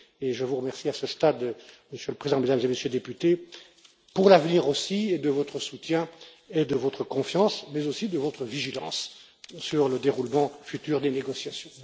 Je vous remercie, à ce stade, Monsieur le Président, Mesdames et Messieurs les députés, pour l'avenir aussi, de votre soutien et de votre confiance, mais aussi de votre vigilance sur le déroulement futur des négociations.